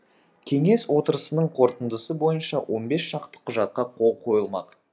кеңес отырысының қорытындысы бойынша он бес шақты құжатқа қол қойылмақ